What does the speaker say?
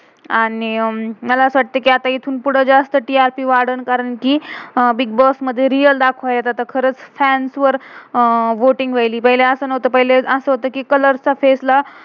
आणि मला असं वाटतं कि, आता इथून पुडे जास्त ती-र-पी वाडेल, कारण कि बिग्बोस bigboss मधे रियल च्या फे face ला,